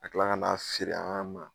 A tila kan'a feere an ma